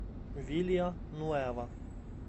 вилья нуэва